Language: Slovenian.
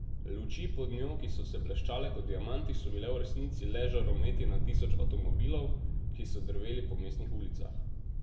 Luči pod njo, ki so se bleščale kot diamanti, so bile v resnici le žarometi na tisoč avtomobilov, ki so drveli po mestnih ulicah.